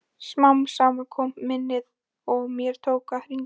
Smám saman kom minnið og mér tókst að hringja.